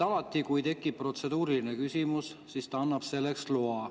Alati, kui tekib protseduuriline küsimus, siis ta annab selleks loa.